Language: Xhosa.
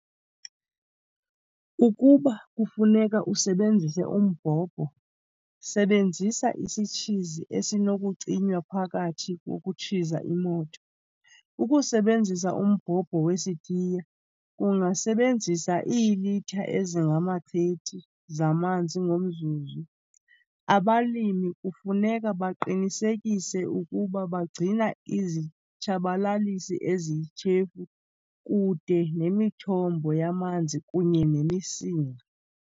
Ukuba kufuneka usebenzise umbhobho, sebenzisa isitshizi esinokucinywa phakathi kokutshiza imoto. Ukusebenzisa umbhobho wesitiya kungasebenzisa iilitha ezingama-30 zamanzi ngomzuzu. Abalimi kufuneka baqinisekise ukuba bagcina izitshabalalisi eziyityhefu kude nemithombo yamanzi kunye nemisinga.